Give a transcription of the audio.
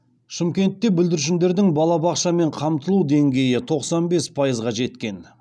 шымкентте бүлдіршіндердің балабақшамен қамтылу деңгейі тоқсан бес пайызға жеткен